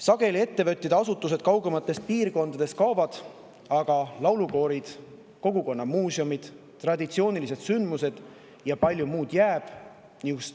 Sageli kaugemates piirkondades ettevõtted ja asutused kaovad, aga laulukoorid, kogukonnamuuseumid, traditsioonilised sündmused jäävad, palju muudki jääb.